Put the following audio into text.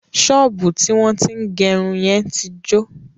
Ṣọ́ọ̀bú tí wọ́n tín gẹrun yẹn tí jọ.